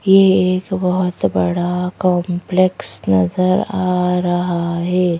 ये एक बहुत बड़ा कॉम्प्लेक्स नजर आ रहा है।